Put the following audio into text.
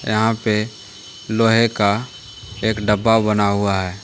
यहाँ पे लोहे का एक डब्बा बना हुआ है।